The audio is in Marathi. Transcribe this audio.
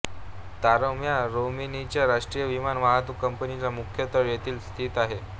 तारोम ह्या रोमेनियाच्या राष्ट्रीय विमान वाहतूक कंपनीचा मुख्य तळ येथेच स्थित आहे